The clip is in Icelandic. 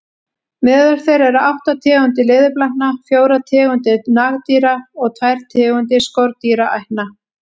Meðal þeirra eru átta tegundir leðurblakna, fjórar tegundir nagdýra og tvær tegundir skordýraætna.